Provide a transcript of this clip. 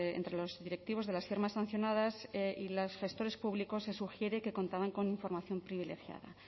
entre los directivos de las firmas sancionadas y los gestores públicos se sugiere que contaban con información privilegiada